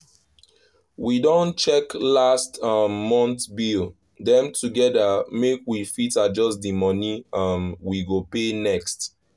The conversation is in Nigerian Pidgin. we don check last um month bill dem together make we fit adjust the money um we go pay next.